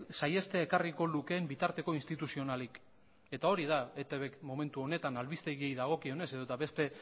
saihestea ekarriko lukeen bitarteko instituzionalik eta hori da etbk momentu honetan albistegiei dagokionez edota beste